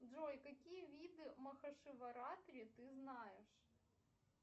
джой какие виды махашиваратри ты знаешь